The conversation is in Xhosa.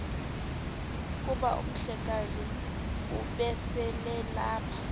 kuba umhlekazi ubeselelapha